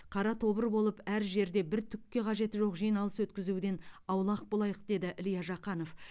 қара тобыр болып әр жерде бір түкке қажеті жоқ жиналыс өткізуден аулақ болайық деді илья жақанов